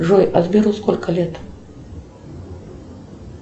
джой а сберу сколько лет